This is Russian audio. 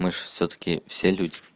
мы же всё таки все люди